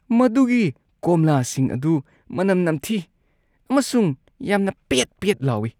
ꯃꯗꯨꯒꯤ ꯀꯣꯝꯂꯥꯁꯤꯡ ꯑꯗꯨ ꯃꯅꯝ ꯅꯝꯊꯤ ꯑꯃꯁꯨꯡ ꯌꯥꯝꯅ ꯄꯦꯠ-ꯄꯦꯠ ꯂꯥꯎꯏ꯫